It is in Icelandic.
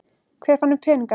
Hver fann upp peningana?